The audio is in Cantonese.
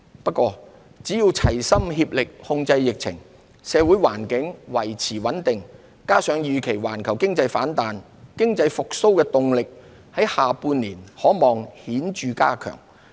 不過，只要齊心協力控制疫情，社會環境維持穩定，加上預期環球經濟反彈，經濟復蘇動力下半年可望顯著增強。